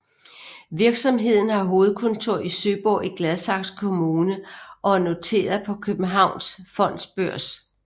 Virksomheden har hovedkontor i Søborg i Gladsaxe Kommune og er noteret på Københavns Fondsbørs